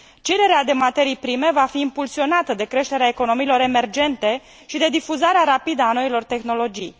Cererea de materii prime va fi impulsionată de creșterea economiilor emergente și de difuzarea rapidă a noilor tehnologii.